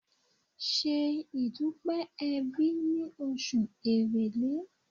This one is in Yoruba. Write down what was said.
Ṣe ìdúpé ẹbí ní oṣù èrèlé!